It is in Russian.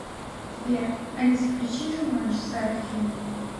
сбер алиса включи джуманджи старый фильм